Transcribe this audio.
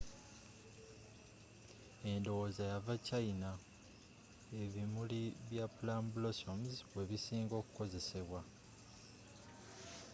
edowooza yava china ebimuri bya plum blossoms webisinga okukozesebwa